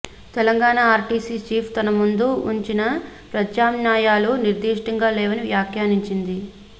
Telangana RTC chief తమ ముందు ఉంచిన ప్రత్యామ్నాయాలు నిర్దిష్టంగా లేవని వ్యాఖ్యానించింది